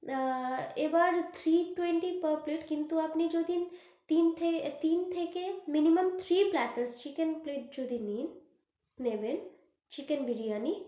আআ এবার three twenty per plate কিন্তু আপনি যদি তিন থে~তিন থেকে minimum three platers chicken plate যদি নিন নেবেন, চিকেন বিরিয়ানি।